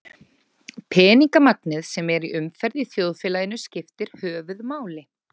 Peningamagnið sem er í umferð í þjóðfélaginu skiptir höfuðmáli.